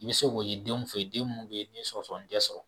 I bɛ se k'o ye denw fɛ den minnu bɛ yen n'i ye sɔgɔsɔgɔnijɛ sɔrɔ